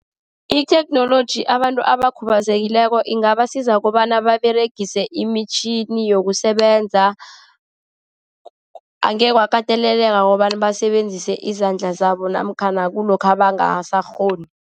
Itheknoloji abantu abakhubazekileko ingabasiza kobana baberegise imitjhini yokusebenza, angekhe kwakateleleka kobana basebenzise izandla zabo, namkhana kulokha bangasakghoni.